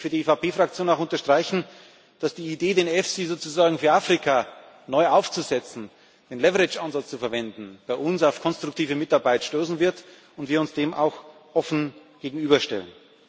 Und deswegen möchte ich für die EVP Fraktion auch unterstreichen, dass die Idee, den EFSI sozusagen für Afrika neu aufzusetzen, den Leverage Ansatz zu verwenden, bei uns auf konstruktive Mitarbeit stoßen wird und wir dem auch offen gegenüberstehen.